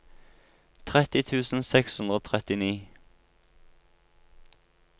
tretti tusen seks hundre og trettini